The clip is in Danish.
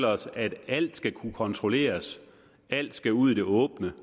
os at alt skal kunne kontrolleres at alt skal ud i det åbne